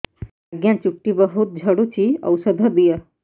ଆଜ୍ଞା ଚୁଟି ବହୁତ୍ ଝଡୁଚି ଔଷଧ ଦିଅ